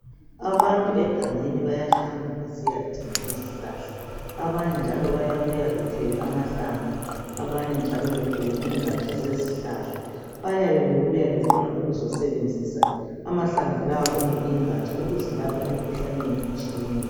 Abantu egangeni bayahamba besiyadinga izihlahla. Abanye njalo bayabuya bethwele amahlamvu abanye njalo bethwele ingaja zezihlahla. Bayabe bebuya befuna ukuzosebenzisa amahlamvu lawo kumbe ingaja ukuzilapha imikhuhlane eminengi etshiyeneyo.